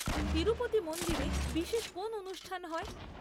তিরুপতি মন্দিরে বিশেষ কোন অনুষ্ঠান হয়?